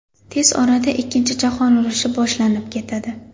Tez orada ikkinchi jahon urushi boshlanib ketadi.